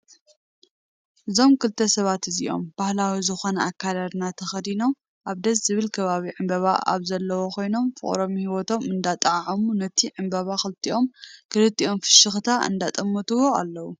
እዞም ክልተ ሰባት እዚኦም ባህላዊ ዝኮነ ኣከዳድና ተከደኖም ኣብ ደስ ዝብል ከባቢ ዕምበባ ኣብ ዘለዎ ኮይኖም ፍቅሮም ሂወቶም እዳጣዓዓሙ ነቲ ዕንበባ ክልቲኦም ክልቲኦም ብፍሽክታ እንዳጠመቱዋ ኣለው።